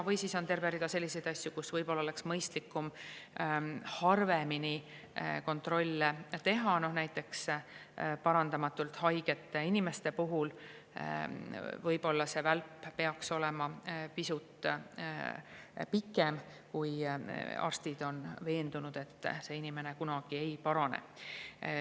Või siis on terve rida selliseid asju, kus võib-olla oleks mõistlikum harvemini kontrolle teha, näiteks parandamatult haigete inimeste puhul võiks see välp olla pisut pikem, kui arstid on veendunud, et inimene kunagi ei parane.